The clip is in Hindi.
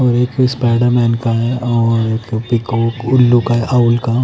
और एक स्पाइडर मैन का है और एक पीकॉक उल्लू का ऑउल का--